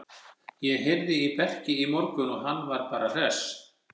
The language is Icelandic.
Ég heyrði í Berki í morgun og hann var bara hress.